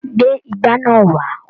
Gbé igbá náà wà!